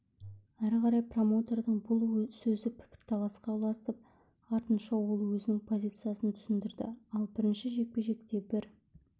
әрі қарай промоутердің бұл сөзі пікірталасқа ұласып артынша ол өзінің позициясын түсіндірді ал бірінші жекпе-жекте бір